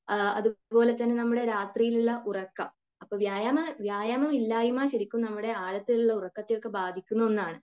അതുപോലെ തന്നെ നമ്മുടെ രാത്രിയിലുള്ള ഉറക്കം വ്യായാമം, വ്യായാമമില്ലായിമ ശരിക്കും നമ്മുടെ ആഴത്തിലുള്ള ഉറക്കത്തെ ഒക്കെ ബാധിക്കുന്ന ഒന്നാണ്.